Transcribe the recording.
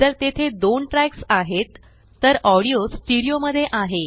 जर तेथे दोन ट्रॅक्स आहेत तरऑडिओ स्टीरियो मध्ये आहे